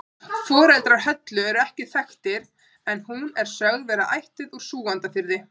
Foreldrar Höllu eru ekki þekktir en hún er sögð vera ættuð úr Súgandafirði.